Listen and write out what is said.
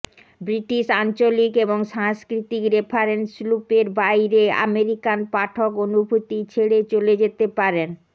British আঞ্চলিক এবং সাংস্কৃতিক রেফারেন্স লুপের বাইরে আমেরিকান পাঠক অনুভূতি ছেড়ে চলে যেতে পারেন